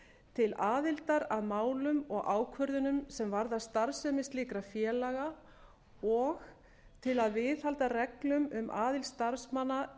til aðildar að málum og ákvörðunum sem varða starfsemi slíkra félaga og til að viðhalda reglum um aðild starfsmanna